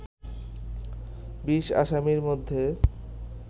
২০ আসামির মধ্যে